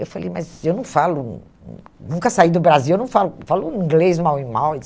Eu falei, mas eu não falo, hum hum nunca saí do Brasil, eu não falo falo inglês mal e mal,